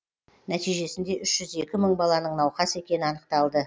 нәтижесінде үш жүз екі мың баланың науқас екені анықталды